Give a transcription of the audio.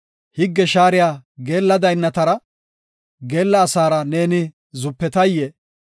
Higge shaariya geella daynnatara geella asara neeni hashetay?